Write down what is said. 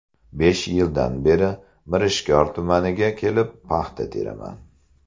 Besh yildan beri Mirishkor tumaniga kelib, paxta teraman.